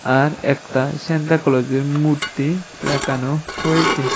আর একতা স্যান্ত ক্লজের মূর্তি রাখানো রয়েছে।